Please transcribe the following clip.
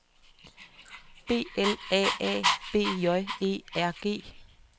B L A A B J E R G